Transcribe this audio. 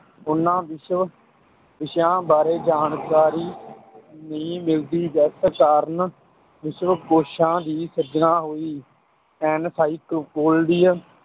ਉਨ੍ਹਾਂ ਵਿਸ਼ਵ ਵਿਸ਼ਿਆਂ ਬਾਰੇ ਜਾਣਕਾਰੀ ਨਹੀਂ ਮਿਲਦੀ ਜਿਸ ਕਾਰਣ ਵਿਸ਼ਵਕੋਸ਼ਾਂ ਦੀ ਸਿਰਜਣਾ ਹੋਈ encyclopedia